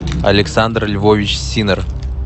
александр львович синнер